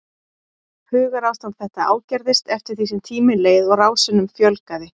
Hugarástand þetta ágerðist eftir því sem tíminn leið og rásunum fjölgaði.